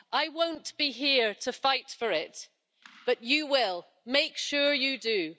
I won't be here to fight for it but you will, make sure you do.